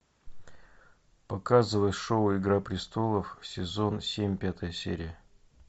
показывай шоу игра престолов сезон семь пятая серия